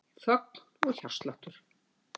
Þögn og hjartsláttur.